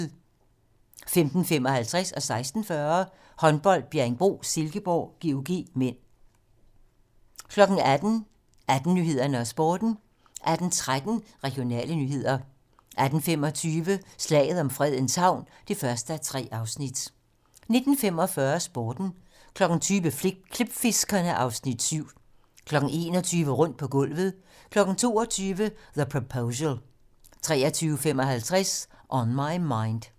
15:55: Håndbold: Bjerringbro-Silkeborg - GOG (m) 16:40: Håndbold: Bjerringbro-Silkeborg - GOG (m) 18:00: 18 Nyhederne og Sporten 18:13: Regionale nyheder 18:25: Slaget om Fredens Havn (1:3) 19:45: Sporten 20:00: Klipfiskerne (Afs. 7) 21:00: Rundt på gulvet 22:00: The Proposal 23:55: On My Mind